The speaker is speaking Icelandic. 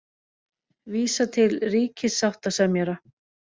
Vísa til ríkissáttasemjara